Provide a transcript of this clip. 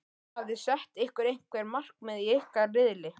Hafiði sett ykkur einhver markmið í ykkar riðli?